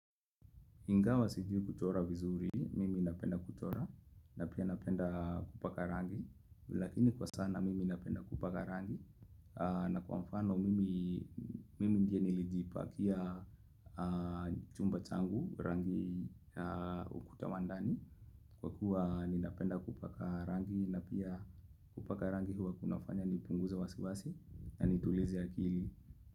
Ingawa sijui kuchora vizuri, mimi napenda kuchora, na pia napenda kupaka rangi, lakini kwa sana mimi napenda kupaka rangi, na kwa mfano. Mimi ndiye nilijipakia chumba changu rangi ukuta wa ndani, kwa kuwa ninapenda kupaka rangi, na pia kupaka rangi huwa kunafanya nipunguze wasiwasi, na nitulize akili.